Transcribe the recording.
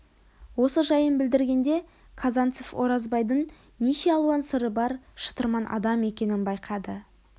осы жайын білдіргенде казанцев оразбайдың неше алуан сыры бар шытырман адам екенін байқады